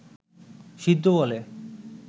সিদ্ধ বলে